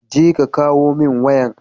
je ka kawo min wayan